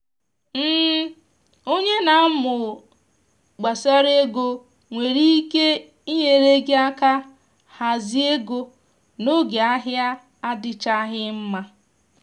onye na amụ gbasara ego nwere ike nyere gị aka hazie ego n’oge ahịa adịchaghị mma